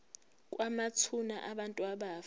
kwamathuna abantu abafa